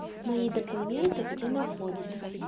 мои документы где находится